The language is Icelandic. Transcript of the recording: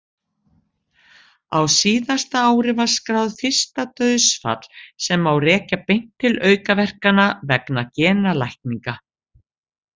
Á síðasta ári var skráð fyrsta dauðsfall sem má rekja beint til aukaverkana vegna genalækninga.